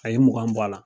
A ye mugan bɔ a la